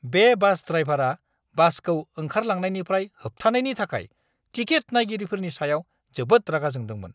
बे बास ड्राइभारा बासखौ ओंखारलांनायनिफ्राय होबथानायनि थाखाय टिकेट-नायगिरिफोरनि सायाव जोबोद रागा जोंदोंमोन!